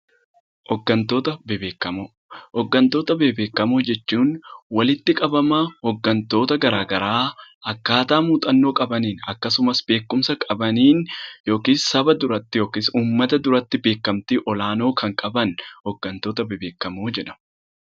Hooggantoota bebbeekamoo Hooggantoota bebbeekamoo jechuun walitti qabama hooggantoota garaagaraa, akkaataa muuxannoo qabaniin akkasumas beekumsa qabaniin yookiis saba duratti yookiis uummata duratti beekamtii olaanoo kan qaban hooggantoota bebbeekamoo jedhamu.